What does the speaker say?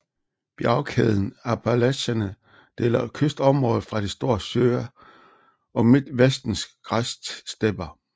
Bjergkæden Appalacherne deler kystområdet fra de Store Søer og Midtvestens græsstepper